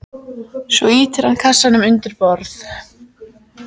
Svo ýtir hann kassanum undir borð.